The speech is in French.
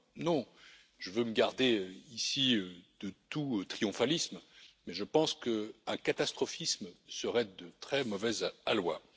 Alors, je veux me garder ici de tout triomphalisme, mais je pense qu'un catastrophisme serait de très mauvais aloi.